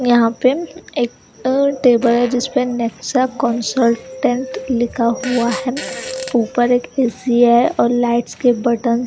यहाँ पर एक टेबल है जिस पर नेक्सा कोनसर्टेंट लिखा हुआ है ऊपर एक ऐ_सी है और लाइट्स के बटन --